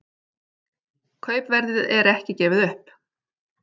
Kaupverðið er ekki gefið upp